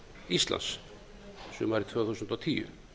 íslands sumarið tvö þúsund og tíu